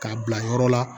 K'a bila yɔrɔ la